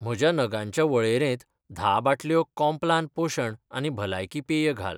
म्हज्या नगांच्या वळेरेंत धा बाटल्यो कॉम्प्लान पोशण आनी भलायकी पेय घाल.